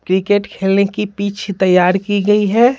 Cricket खेलने की pitch तैयार की गई है।